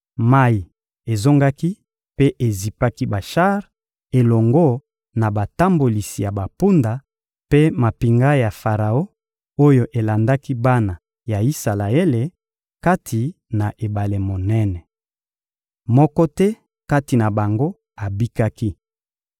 Mayi ezongaki mpe ezipaki bashar elongo na batambolisi ya bampunda mpe mampinga ya Faraon oyo elandaki bana ya Isalaele kati na ebale monene. Moko te kati na bango abikaki.